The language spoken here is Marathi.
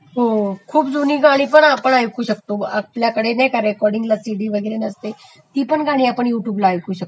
हो खूप जुनी गाणी पण आपण ऐकू शकते..आपल्यकडे नाही का रेकॉर्डींगला सिडी वैगरे नसते ती पण गाणी आपण युट्युबला ऐकू शकतो